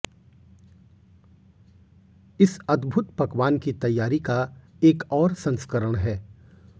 इस अद्भुत पकवान की तैयारी का एक और संस्करण है